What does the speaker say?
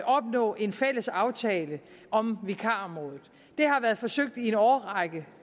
opnå en fælles aftale om vikarområdet det har været forsøgt i en årrække